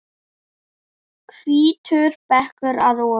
Hvítur bekkur að ofan.